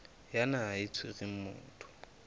ya naha e tshwereng motho